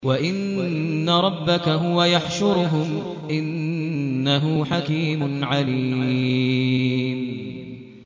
وَإِنَّ رَبَّكَ هُوَ يَحْشُرُهُمْ ۚ إِنَّهُ حَكِيمٌ عَلِيمٌ